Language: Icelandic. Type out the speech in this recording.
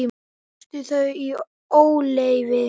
Tókstu þau í óleyfi?